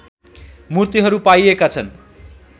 मूर्तिहरू पाइएका छन्